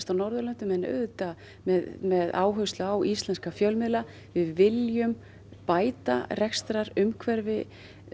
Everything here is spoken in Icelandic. á Norðurlöndunum en auðvitað með með áherslu á íslenska fjölmiðla við viljum bæta rekstrarumhverfi